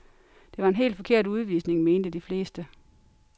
Det var en helt forkert udvisning, mente de fleste.